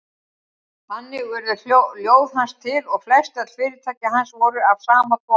Þannig urðu ljóð hans til og flestöll fyrirtæki hans voru af sama toga.